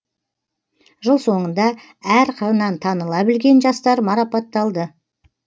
жыл соңында әр қырынан таныла білген жастар марапатталды